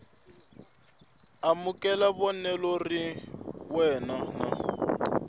amukela vonelo rin wana na